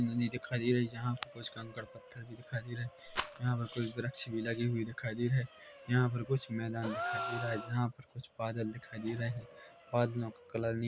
दिखाई दे रही है यहाँ पर कुछ कंकर पत्थर भी दिखाई दे रही है यहाँ पर कुछ वृक्ष भी लगे हुए दिखाई दे रहे है यहाँ पर कुछ मैदान दिखाई दे रहा है जहाँ पर कुछ बादल दिखाई दे रहे है बादलों का कलर --